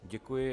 Děkuji.